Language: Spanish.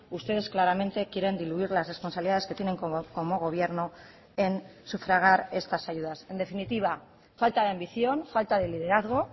ustedes claramente quieren diluir las responsabilidades que tienen como gobierno en sufragar estas ayudas en definitiva falta de ambición falta de liderazgo